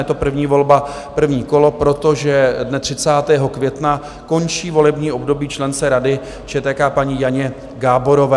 Je to první volba, první kolo, protože dne 30. května končí volební období člence Rady ČTK, paní Janě Gáborové.